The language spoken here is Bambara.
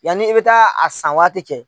Yani i bɛ taa a san waati cɛ.